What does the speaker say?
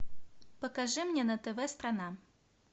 покажи мне на тв страна